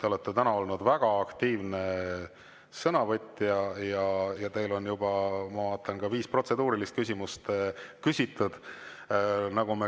Te olete täna olnud väga aktiivne sõnavõtja, ma vaatan, et teil on juba viis protseduurilist küsimust küsitud.